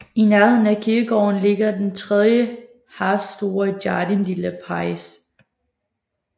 I nærheden af kirkegården ligger den 3 ha store Jardin de la Paix